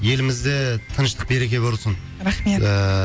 елімізде тыныштық береке болсын рахмет ыыы